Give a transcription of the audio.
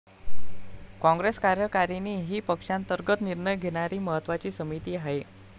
काँग्रेस कार्यकारिणी ही पक्षांतर्गत निर्णय घेणारी महत्त्वाची समिती आहे.